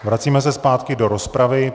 Vracíme se zpátky do rozpravy.